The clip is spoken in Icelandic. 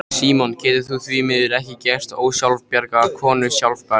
Símon getur því miður ekki gert ósjálfbjarga konu sjálfbjarga.